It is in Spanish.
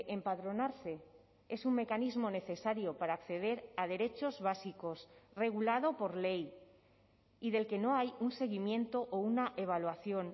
empadronarse es un mecanismo necesario para acceder a derechos básicos regulado por ley y del que no hay un seguimiento o una evaluación